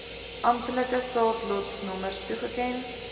amptelike saadlotnommers toegeken